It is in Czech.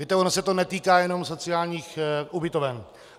Víte, ono se to netýká jenom sociálních ubytoven.